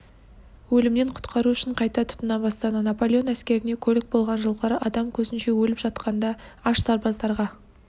өлімнен құтқару үшін қайта тұтына бастады наполеон әскеріне көлік болған жылқылар адам көзінше өліп жатқанда аш сарбаздарға